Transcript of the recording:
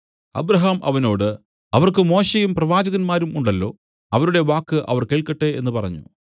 Abraham അവനോട് അവർക്ക് മോശെയും പ്രവാചകന്മാരും ഉണ്ടല്ലോ അവരുടെ വാക്ക് അവർ കേൾക്കട്ടെ എന്നു പറഞ്ഞു